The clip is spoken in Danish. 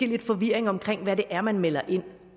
lidt forvirring om hvad det er man melder ind